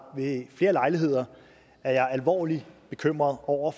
ved flere lejligheder er jeg alvorligt bekymret over